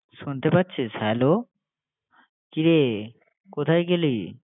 শুনতে পাচ্ছিস? hello । কিরে, কোথায় গেলি?